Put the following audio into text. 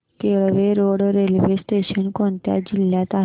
Kelve road railway station कोणत्या जिल्ह्यात आहे